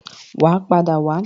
Wà á padà wá.